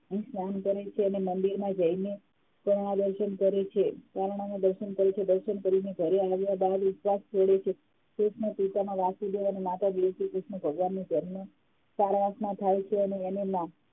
સ્નાન કરે છે અને મંદિરમાં જઈને દર્શન કરે છે પારણાના દર્શન કરે છે દર્શન કરીને ઘરે આવ્યા બાદ ઉપવાસ તોડે છે ભીષ્મ પિતામહ વાસુદેવ અને માતા દેવકી કૃષ્ણ ભગવાનનો જન્મ કારાવાસમાં થાય છે અને એને